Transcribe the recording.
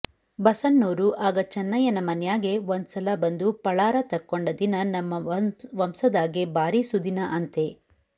ಬಸಣ್ಣೋರು ಆಗ ಚೆನ್ನಯ್ಯನ ಮನ್ಯಾಗೆ ಒಂದ್ಸಲ ಬಂದು ಪಳಾರ ತಕ್ಕೊಂಡ ದಿನ ನಮ್ಮ ವಂಸದಾಗೆ ಬಾರಿ ಸುದಿನ ಅಂತೆ